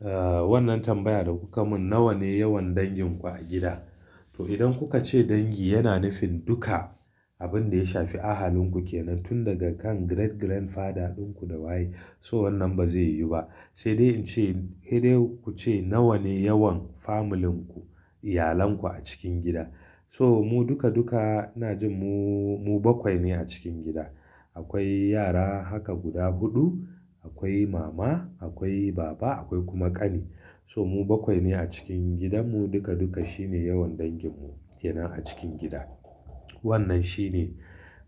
Ah, wannan tambaya da kuka mun nawa ne yawan dangin ku a gida? To, idan kuka ce dangi yana nufin duka abin da ya shafi ahalinku kenan, tun daga kan great grandfather ɗinku da waye, so wannan ba zai yiwu ba. Sai dai in ce, he dai ku ce nawa ne yawan familinku, iyalenku a cikin gida. So mu duka duka ina ji mu, mu bakwai ne a cikin gida. Akwai yara haka guda huɗu, akwai mama, akwai baba, akwai kuma kani. So mu bakwai ne a cikin gidanmu duka duka. Shi ne yawan danginmu kenan a cikin gida. Wannan shine